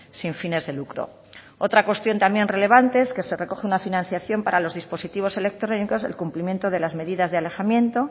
sin fines de lucro otra cuestión también relevante es que se recoge una financiación para los dispositivos electrónicos el cumplimiento de las medidas de alejamiento